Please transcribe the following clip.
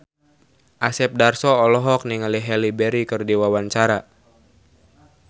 Asep Darso olohok ningali Halle Berry keur diwawancara